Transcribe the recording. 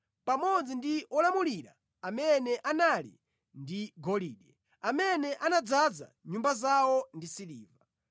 pamodzi ndi olamulira amene anali ndi golide, amene anadzaza nyumba zawo ndi siliva.